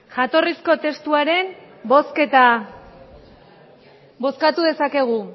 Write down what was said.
jatorrizko testuaren bozketa bozkatu dezakegu